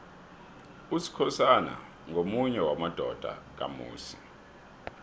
usikhosana ngomunye wamadodana kamusi